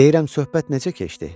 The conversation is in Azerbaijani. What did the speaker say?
Deyirəm, söhbət necə keçdi?